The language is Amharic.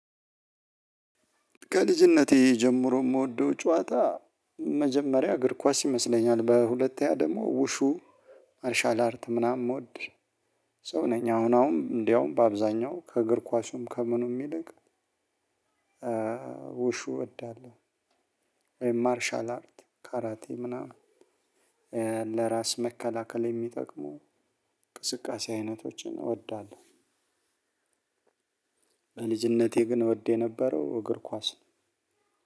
ከልጅነቴ ጀምሮ የምወደው ጨዋታ መጀመሪያ እግር ኳስ ይመስለኛል። በሁለተኛ ደግሞ ውሹ ማርሻል አርት ምናምን ሞወድ ሰው ነኝ አሁን አሁን እንደውም በአብዛኛው ከእግር ኳሱም ከምኑም ይልቅ ውሹ እወዳለሁ ወይም ማርሻል አርት ካራቴ ምናምን ለራስ መከላከል የሚጠቅሙ እንቅስቃሴ አይነቶችን እወዳለሁ። በልጅነቴ ግን እወድ የነበረው እግር ኳስ ነው።